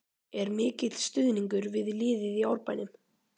Er mikill stuðningur við liðið í Árbænum?